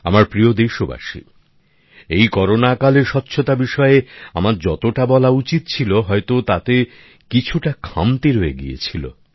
আমার প্রিয় দেশবাসী এই করোনাকালে স্বচ্ছতা বিষয়ে আমার যতটা বলা উচিত ছিল হয়তো তাতে কিছুটা খামতি রয়ে গিয়েছিলো